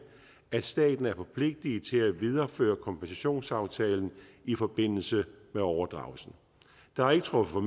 at staten er forpligtiget til at videreføre kompensationsaftalen i forbindelse med overdragelsen der er ikke truffet